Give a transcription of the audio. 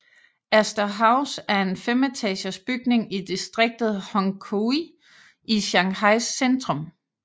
Astor House er en femetagers bygning i distriktet Hongkou i Shanghais centrum